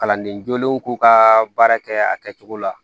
Kalanden jolenw k'u ka baara kɛ a kɛcogo la